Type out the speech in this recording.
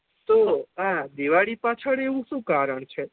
તો આ દિવાળી પાછળ આ વું શું કારણ છે